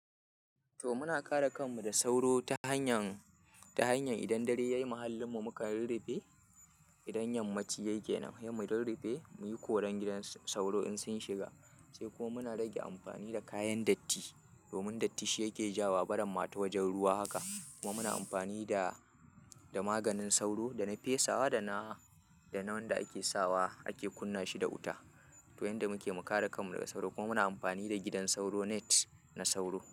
To muna kare kanmu da sauro ta hanyar, ta hanyar idan dare ya yi muhallin mu muka rurrafe. Idan yammaci yake nan dai mu rurrufe, muyi koren gidan sauro in sun shiga. Sai kuma muna rage amfani da kayan datti. Domin datti shi yake jawowa barin ma ta wajen ruwa haka. Kuma muna amfani da, da maganin sauro da na fesawa da na, da na wanda ake sawa ake kunna shi da wuta. To yanda muke mu kare kanmu daga sauro. Kuma muna amfani da gidan sauro net na sauro.